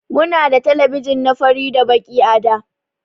Muna da telebijin na fari da Baki a da.